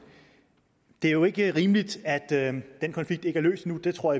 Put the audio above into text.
det er jo ikke rimeligt at den konflikt ikke er løst endnu det tror